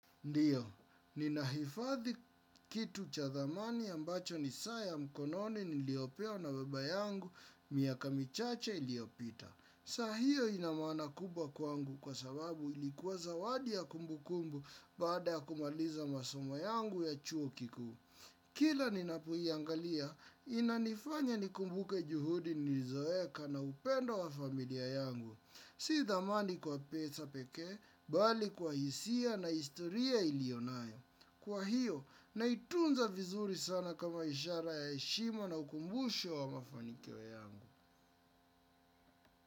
Ndiyo, ninahifadhi kitu cha thamani ambacho ni saa mkoloni niliyopewa na baba yangu, miaka michache iliyopita. Saa hio ina maana kubwa kwangu kwa sababu ilikuwa zawadi ya kumbukumbu baada ya kumaliza masoma yangu ya chuo kikuu. Kila ninapoiangalia, inanifanya nikumbuke juhudi nilizoeka na upendo wa familia yangu. Si thamani kwa pesa pekee, bali kwa hisia na historia ilio nayo. Kwa hiyo, naitunza vizuri sana kama ishara ya heshima na ukumbusho wa mafanikio yangu.